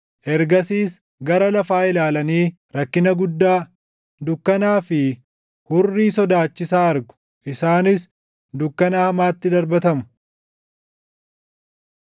Ergasiis gara lafaa ilaalanii rakkina guddaa, dukkanaa fi hurrii sodaachisaa argu; isaanis dukkana hamaatti darbatamu.